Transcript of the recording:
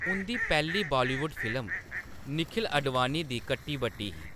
उंʼदी पैह्‌ली बॉलीवुड फिल्म निखिल आडवाणी दी कट्टी-बट्टी ही।